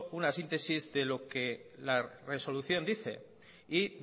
una síntesis de lo que la resolución dice y